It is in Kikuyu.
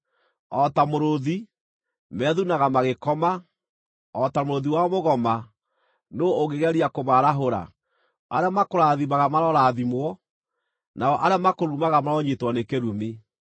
O ta mũrũũthi, methunaga magĩkoma, o ta mũrũũthi wa mũgoma, nũũ ũngĩgeria kũmaarahũra? “Arĩa makũrathimaga marorathimwo, nao arĩa makũrumaga maronyiitwo nĩ kĩrumi!”